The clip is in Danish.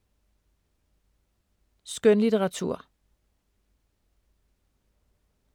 Skønlitteratur